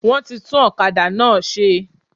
Wọ́n ti tún òkadà náà se